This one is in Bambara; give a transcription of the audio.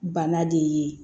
Bana de ye